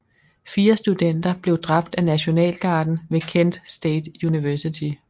Fire studenter blev dræbt af Nationalgarden ved Kent State University